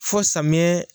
Fo samiya